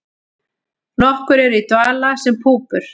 Nokkur eru í dvala sem púpur.